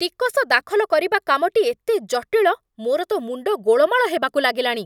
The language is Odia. ଟିକସ ଦାଖଲ କରିବା କାମଟି ଏତେ ଜଟିଳ, ମୋର ତ ମୁଣ୍ଡ ଗୋଳମାଳ ହେବାକୁ ଲାଗିଲାଣି!